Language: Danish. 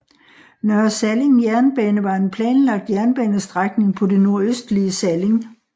Nørre Salling Jernbane var en planlagt jernbanestrækning på det nordøstlige Salling